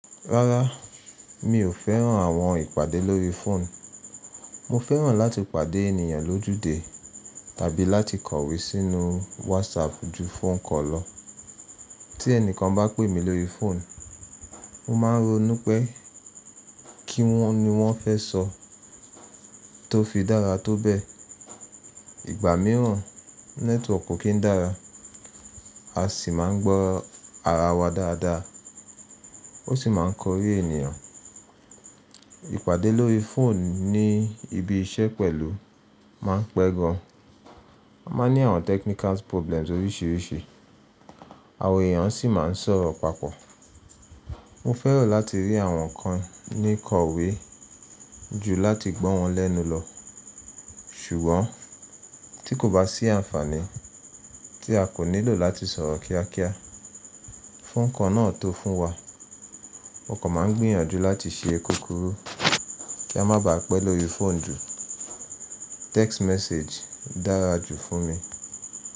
Rárá, mi ò fẹ́ràn àwọn ìpàdé lórí fóònù. Mo fẹ́ràn láti pàdé ènìyàn lójúde tàbí láti kọ̀wé sínú wásapù ju fóònù kan lọ. Tí ẹnìkan bá pè mí lórí fóònù, mo máa ń ronú pé kí wọn ni wọ́n fẹ́ sọ. Tó fi dára tó bẹ́ẹ̀, ìgbà mìíràn nẹ́tíwọkì kì í dára, a sì máa ń gbọ́ ara wa dáadáa, ó sì máa ń korí ènìyàn. Ìpàdé lórí fóònù ní ibi iṣẹ́ pẹ̀lú máa ń pẹ́ gan. A máa ní àwọn technical problems oríṣiríṣi, àwọn èèyàn sì máa ń sọ̀rọ̀ papọ̀. Mo fẹ́ràn láti rí àwọn kan ní kọ̀wé ju láti gbọ́ wọn lẹ́nu lọ. Ṣùgbọ́n tí kò bá sí àǹfààní tí a kò nílò láti sọ̀rọ̀ kíákíá, fóònù kan náà tó fún wa. Mó kàn máa ń gbìyànjú láti ṣe kúkúrú kí a má ba à pẹ́ lórí fóònù jù. Text message dára jù fún mi.